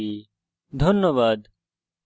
অংশগ্রহনের জন্য ধন্যবাদ